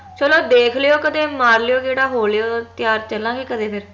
ਚਲੋ ਦੇਖ ਲਯੋ ਕਦੇ ਮਾਰ ਲਯੋ ਗੇੜਾ ਹੋ ਲਯੋ ਤਯਾਰ ਚਲਾਂਗੇ ਕਦੇ ਫੇਰ